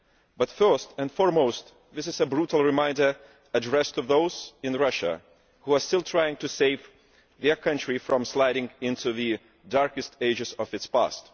But, first and foremost, this is a brutal reminder for those in Russia who are still trying to save their country from sliding into the darkest ages of its past.